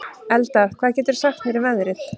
Eldar, hvað geturðu sagt mér um veðrið?